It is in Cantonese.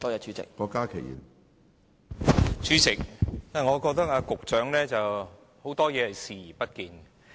主席，我覺得局長對很多事都視而不見。